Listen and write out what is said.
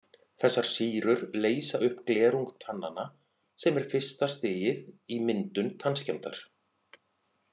Þessar sýrur leysa upp glerung tannanna sem er fyrsta stigið í myndun tannskemmdar.